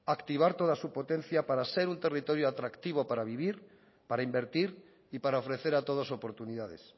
activar toda su potencia para ser un territorio atractivo para vivir para invertir y para ofrecer a todos oportunidades